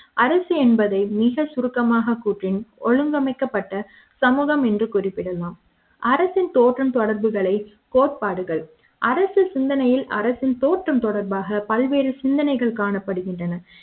அரசு என்பதை மிகச்சுருக்கமாக கூற்றின் ஒழுங்கமைக்கப்பட்ட சமூக ம் என்று குறிப்பிடலாம் அரசின் தோற்றம் தொடர்புகளை கோட்பாடுகள் அரசு சிந்தனைகள் அரசின் தோற்றம் தொடர்பாக பல்வேறு சிந்தனைகள் காணப்படுகின்றன